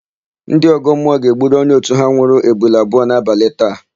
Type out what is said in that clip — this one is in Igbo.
Ndị ọgọmmụọ ga-egburu onye òtù ha nwụrụ ebule abụọ n'abalị taa.